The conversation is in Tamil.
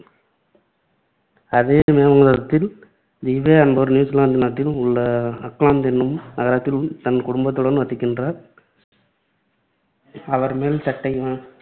அதே என்பவர் நியூசிலாந்து நாட்டில் உள்ள ஆக்லாந்து என்னும் நகரத்தில் தன் குடும்பத்துடன் வசிக்கின்றார். அவர் மேல்சட்டையினால்,